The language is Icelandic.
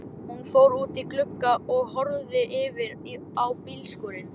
Hún fór út í glugga og horfði yfir á bílskúrinn.